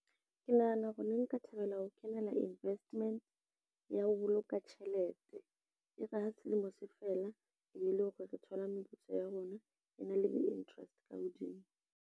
Ke nahana hore ne nka thabela ho kenela investment, ya ho boloka tjhelete. E re ha selemo se fela e be e le hore re thola meputso ya rona e na le di-interest ka hodimo.